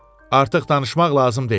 Artıq danışmaq lazım deyil.